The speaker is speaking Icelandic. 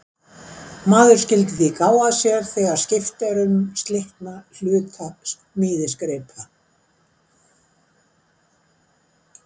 Maður skyldi því gá að sér þegar skipt er um slitna hluta smíðisgripa.